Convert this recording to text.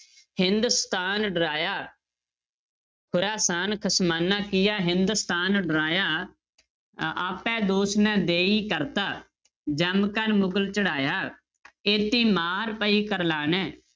ਹਿਦੁਸਤਾਨ ਡਰਾਇਆ ਖੁਰਾਸਾਨ ਖਸਮਾਨਾ ਕੀਆ ਹਿਦੁਸਤਾਨ ਡਰਾਇਆ ਅ~ ਆਪੈ ਦੋਸੁ ਨ ਦੇਈ ਕਰਤਾ ਜਮੁ ਕਰਿ ਮੁਗਲੁ ਚੜਾਇਆ ਏਤੀ ਮਾਰ ਪਈ ਕਰਲਾਣੇ